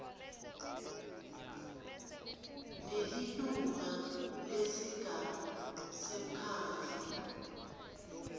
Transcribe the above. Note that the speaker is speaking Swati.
nelilunga lesigungu semkhandlu